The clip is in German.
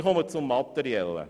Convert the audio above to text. Ich komme zum Materiellen.